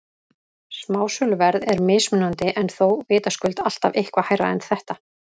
Smásöluverð er mismunandi en þó vitaskuld alltaf eitthvað hærra en þetta.